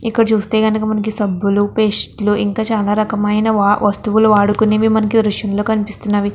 ఇక్కడ చూస్తే గనక మనకి సబ్బులు పేస్టు లు ఇంకా చాలా రకమైన వా వస్తువులు వాడుకునేవి మనకి దృశ్యంలో కనిపిస్తున్నాయి.